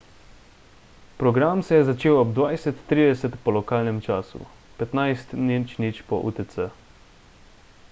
program se je začel ob 20.30 po lokalnem času 15.00 po utc